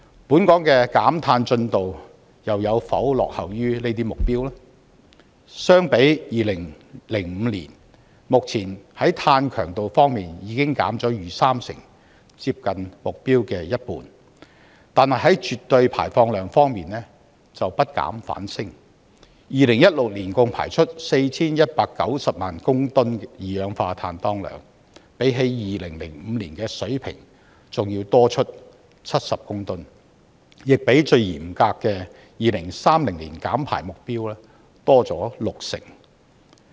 本港的減碳進程有否落後於這些目標呢？相比2005年，目前在碳強度方面已經減了逾三成，接近目標的一半。但是，絕對排放量卻不減反升，在2016年共排出 4,190 萬公噸二氧化碳當量，比起2005年的水平還要多出70公噸，亦比最嚴格的2030年減排目標多了六成。